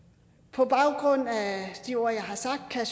på baggrund af de ord jeg har sagt kan